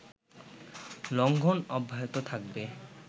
লঙ্ঘন অব্যাহত থাকবে